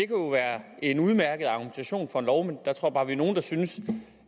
jo være en udmærket argumentation for en lov men der tror jeg bare vi er nogle der synes